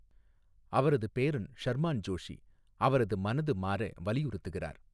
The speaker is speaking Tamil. அவரது பேரன் ஷர்மான் ஜோஷி, அவரது மனது மாற வலியுறுத்துகிறார்.